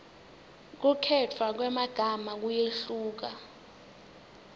kukhetfwa kwemagama kuyehluka